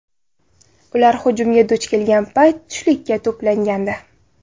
Ular hujumga duch kelgan payt tushlikka to‘plangandi.